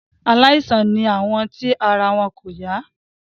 Aláìsàn ni àwọn tí ara wọn kò yá.